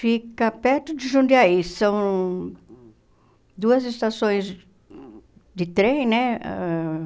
Fica perto de Jundiaí, são duas estações de trem, né? Ãh